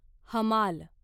हमाल